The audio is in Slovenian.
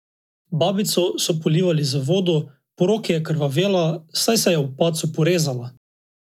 Babico so polivali z vodo, po roki je krvavela, saj se je ob padcu porezala.